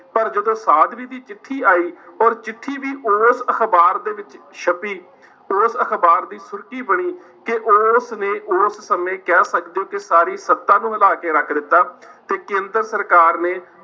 ਪਰ ਜਦੋਂ ਸਾਧਵੀ ਦੀ ਚਿੱਠੀ ਆਈ ਔਰ ਚਿੱਠੀ ਵੀ ਉਸ ਅਖ਼ਬਾਰ ਦੇ ਵਿੱਚ ਛਪੀ ਉਸ ਅਖ਼ਬਾਰ ਦੀ ਸੁਰਖੀ ਬਣੀ ਕਿ ਉਸ ਨੇ ਉਸ ਸਮੇਂ ਕਹਿ ਸਕਦੇ ਹੋ ਕਿ ਸਾਰੀ ਸੱਤਾ ਨੂੰ ਹਿਲਾ ਕੇ ਰੱਖ ਦਿੱਤਾ ਤੇ ਕੇਂਦਰ ਸਰਕਾਰ ਨੇ,